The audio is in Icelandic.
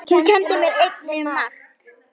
Hún kenndi mér einnig margt.